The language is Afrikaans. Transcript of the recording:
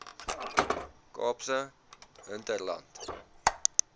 kaapse hinterland